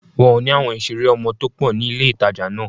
Wọn ò ní àwọn ìṣeré ọmọ tó pọ̀ ní ilé-ìtàjà náà